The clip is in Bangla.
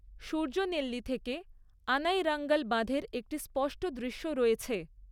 সূর্যনেল্লি থেকে আনাইরাঙ্গল বাঁধের একটি স্পষ্ট দৃশ্য রয়েছে।